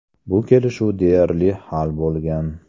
Bu kelishuv deyarli hal bo‘lgan.